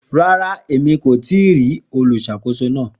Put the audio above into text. Ràrà, ẹ̀mí kò tìí rí oluṣakòsó náà.